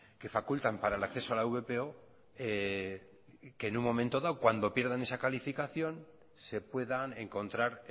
que facultan para el acceso a la vpo que en un momento dado cuando pierdan esa calificación se puedan encontrar